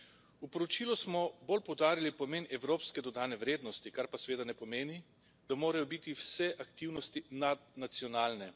V poročilu smo bolj poudarili pomen evropske dodane vrednosti, kar pa seveda ne pomeni, da morajo biti vse aktivnosti nadnacionalne.